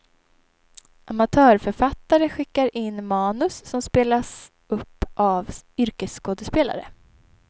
Amatörförfattare skickar in manus, som spelas upp av yrkesskådespelare.